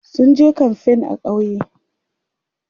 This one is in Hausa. sunje kamfain a ƙauye